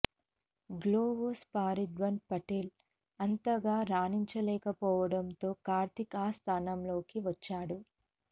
గ్లోవ్స్తో పార్థివ్ పటేల్ అంతగా రాణించలేకపోవడంతో కార్తీక్ ఆ స్థానంలోకి వచ్చాడు